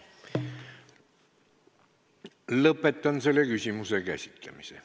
Lõpetan selle küsimuse käsitlemise.